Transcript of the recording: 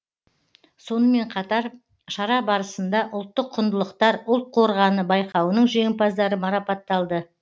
сонымен қатар шара барысында ұлттық құндылықтар ұлт қорғаны байқауының жеңімпаздары марапатталды